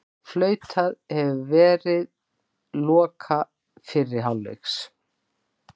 Flautað hefur verið loka fyrri hálfleiks